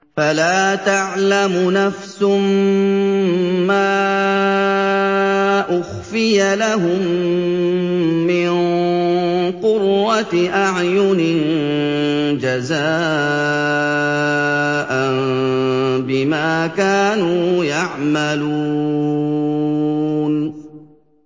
فَلَا تَعْلَمُ نَفْسٌ مَّا أُخْفِيَ لَهُم مِّن قُرَّةِ أَعْيُنٍ جَزَاءً بِمَا كَانُوا يَعْمَلُونَ